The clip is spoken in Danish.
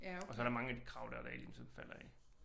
Og så er der mange af de krav dér der ligesom falder af